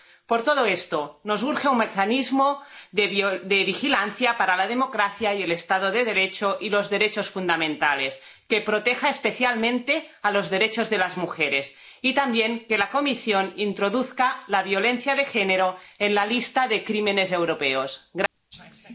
Por todo esto, nos urge un mecanismo de vigilancia para la democracia y el Estado de Derecho y los derechos fundamentales que proteja especialmente los derechos de las mujeres, y también que la Comisión introduzca la violencia de género en la lista europea de crímenes.